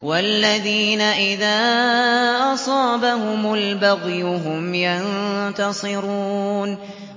وَالَّذِينَ إِذَا أَصَابَهُمُ الْبَغْيُ هُمْ يَنتَصِرُونَ